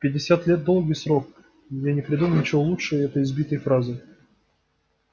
пятьдесят лет долгий срок я не придумал ничего лучше этой избитой фразы